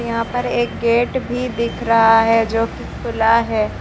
यहां पर एक गेट भी दिख रहा है जो कि खुला है।